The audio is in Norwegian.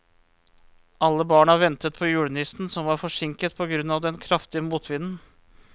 Alle barna ventet på julenissen, som var forsinket på grunn av den kraftige motvinden.